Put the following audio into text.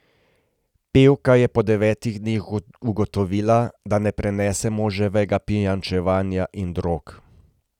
Pevka je po devetih dneh ugotovila, da ne prenese moževega pijančevanja in drog.